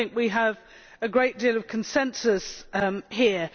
I think we have a great deal of consensus here.